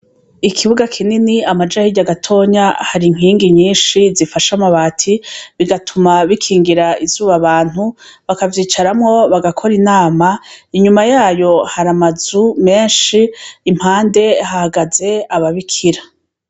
Ikibuga kinini amaja hirya gatonya har'inkingi zinini zifashe amabati bituma bikingira izuba abantu bakavyicaramwo bagakora inama, inyuma yayo har'amazu menshi impande hahagaze ababikira.